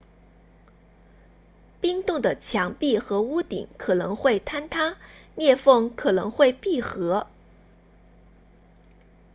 冰洞的墙壁和屋顶可能会坍塌裂缝可能会闭合